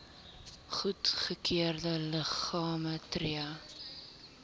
goedgekeurde liggame tree